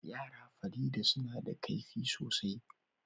Yara Farida suna da kaifi sosai